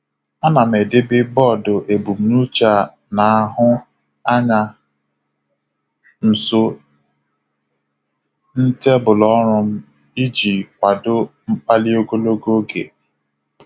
A na m edebe bọọdụ ebumnuche a na-ahụ anya nso n'tebụl ọrụ m iji kwado mkpali ogologo oge.